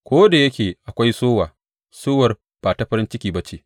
Ko da yake akwai sowa sowar ba ta farin ciki ba ce.